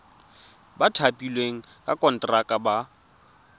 ba thapilweng ka konteraka ba